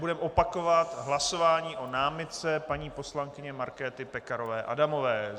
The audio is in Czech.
Budeme opakovat hlasování o námitce paní poslankyně Markéty Pekarové Adamové.